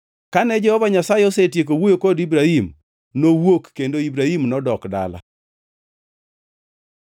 Kane Jehova Nyasaye osetieko wuoyo kod Ibrahim, nowuok kendo Ibrahim nodok dala.